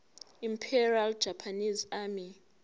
imperial japanese army